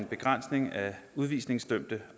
begrænsning af udvisningsdømte